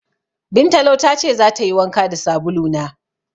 Bintalo ta ce zata yi wanka da sabulu na.